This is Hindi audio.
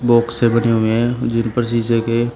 बॉक्से बने हुए है जिन पर शीशे के--